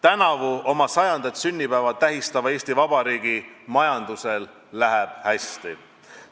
Tänavu oma 100. sünnipäeva tähistava Eesti Vabariigi majandusel läheb hästi.